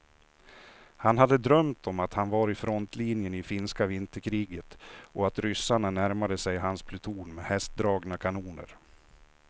Han hade drömt om att han var i frontlinjen i finska vinterkriget och att ryssarna närmade sig hans pluton med hästdragna kanoner.